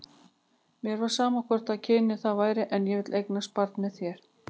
Mér væri sama hvort kynið það væri, en ég vil eignast barn með þér.